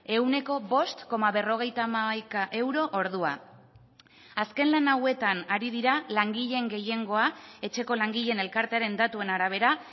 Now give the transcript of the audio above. ehuneko bost koma berrogeita hamaika euro ordua azken lan hauetan ari dira langileen gehiengoa etxeko langileen elkartearen datuen arabera